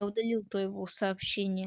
я удалил то его сообщение